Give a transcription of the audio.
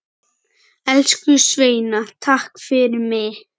Elsku Sveina takk fyrir mig.